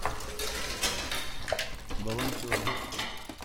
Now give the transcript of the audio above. волонтеры